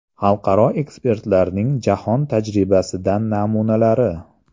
Xalqaro ekspertlarning jahon tajribasidan namunalari.